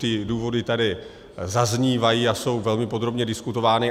Ty důvody tady zaznívají a jsou velmi podrobně diskutovány.